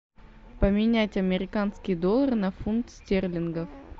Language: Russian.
поменять американские доллары на фунт стерлингов